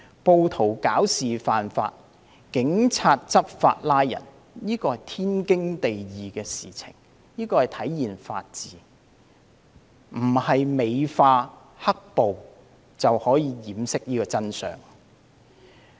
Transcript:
暴徒惹事犯法，警員執法作出拘捕，這是天經地義的事，是體現法治，美化"黑暴"並不能掩飾真相。